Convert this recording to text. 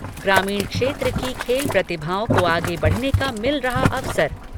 ग्रामीण क्षेत्र की खेल प्रतिभाओं को आगे बढ़ने का मिल रहा अवसर।